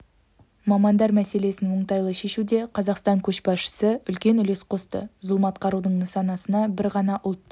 мамандар мәселесін оңтайлы шешуде қазақстан көшбасшысы үлкен үлес қосты зұлмат қарудың нысанасына бір ғана ұлт